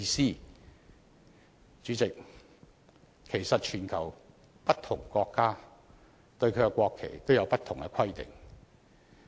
代理主席，其實全球不同國家對國旗也有不同規定。